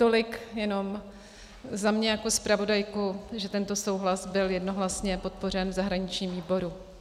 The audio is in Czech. Tolik jenom za mě jako zpravodajku, že tento souhlas byl jednohlasně podpořen v zahraničním výboru.